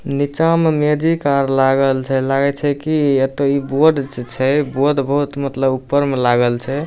नीचा में मैजिक आर लागल छै लागय छै की अतो इ बोर्ड जे छै बोर्ड मतलब बहुत ऊपर में लागल छै।